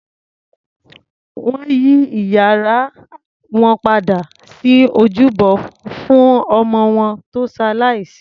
Wọn yí ìyàrá wọn padà sí ojúbọ fún ọmọ wọn tó ṣalàìsí